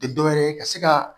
Tɛ dɔ wɛrɛ ye ka se ka